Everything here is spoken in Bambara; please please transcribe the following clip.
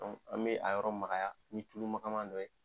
Dɔnku an bɛ a yɔrɔ magaya ni tulu magama dɔ ye